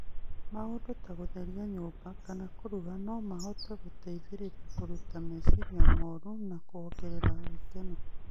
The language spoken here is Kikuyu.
Maũndũ ta gũtheria nyũmba kana kũruga no mahote gũteithia kũruta meciria moru na kuongerera gĩkeno.